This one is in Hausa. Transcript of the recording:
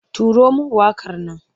Turo min waƙar nan!